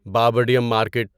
بابڈیم market